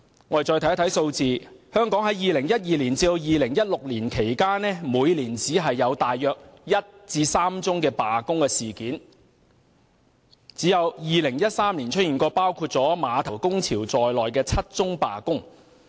我們看看數字，香港在2012年至2016年期間，每年只有1至3宗罷工事件，唯獨2013年曾出現包括碼頭工潮在內的7宗罷工。